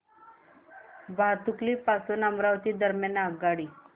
भातुकली पासून अमरावती दरम्यान आगगाडी